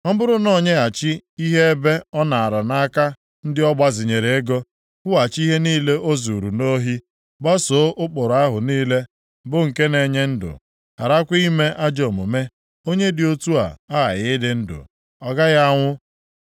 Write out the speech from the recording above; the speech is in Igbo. ọ bụrụ na o nyeghachi ihe ebe ọ naara nʼaka ndị ọ gbazinyere ego, kwụghachi ihe niile o zuuru nʼohi, gbasoo ụkpụrụ ahụ niile bụ nke na-enye ndụ, gharakwa ime ajọ omume; onye dị otu a aghaghị ịdị ndụ, ọ gaghị anwụ.